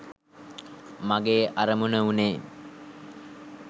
මගේ අරමුණ වුණේ